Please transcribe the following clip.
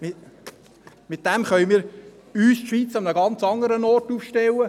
Damit können wir die Schweiz an einem ganz anderen Ort aufstellen.